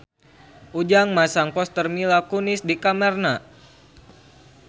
Ujang masang poster Mila Kunis di kamarna